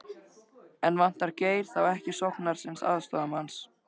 En vantar Geir þá ekki sóknarsinnaðri aðstoðarmann?